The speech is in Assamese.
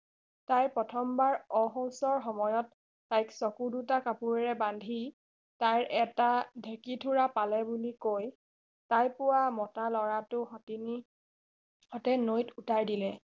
তাই প্ৰথমবাৰ অসুস্থ সময়ত তাইক চকু দুটা কাপোৰেৰে বান্ধি তাই এটা ঢেঁকিথোৰা পালে বুলিকৈ তাই পোৱা মতা লৰাটো সতিনী হতে নৈত উতাই দিলে